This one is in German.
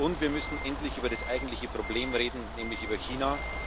Und wir müssen endlich über das eigentliche Problem reden, nämlich über China.